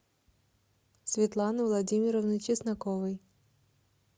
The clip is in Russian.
светланы владимировны чесноковой